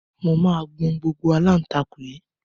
Mo máa gbọn gbogbo aláǹtakùn yìí